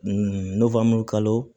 n'o fɔ an be kalo